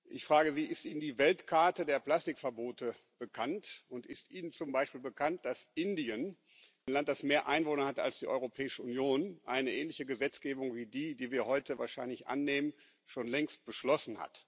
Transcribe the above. Ich frage Sie Ist Ihnen die Weltkarte der Plastikverbote bekannt, und ist Ihnen zum Beispiel bekannt, dass Indien, ein Land das mehr Einwohner hat als die Europäische Union, eine ähnliche Gesetzgebung wie die, die wir heute wahrscheinlich annehmen, schon längst beschlossen hat?